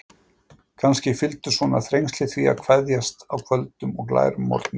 Kannski fylgdu svona þrengsli því að kveðjast á köldum og glærum morgni.